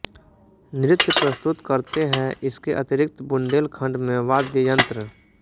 नृत्य प्रस्तुत करते है इसके अतिरिक्त बुन्देलखंड में वाद्ययंत्र